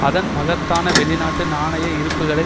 அதன் மகத்தான வெளிநாட்டு நாணய இருப்புக்களை